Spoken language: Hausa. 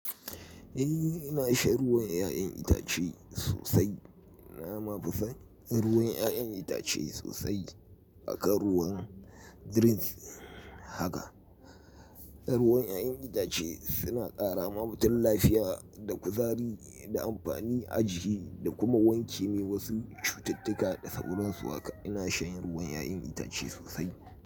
Eh ina shan ruwan 'ya'yan itace sosai. Na mafi son ruwan 'ya'yan itace sosai akan ruwan drinks haka. Ruwan 'ya'yan itace suna ƙara ma mutum lafiya da kuzari da amfani a jiki da kuma wanke wasu cututtuka da sauran su haka. Ina shan ruwan 'ya'yan itace sosai.